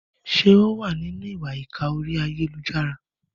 Ṣé ó wà nínú ìwà ìkà orí ayélujára?